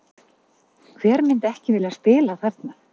Hver myndi ekki vilja spila þarna?